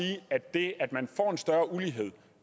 det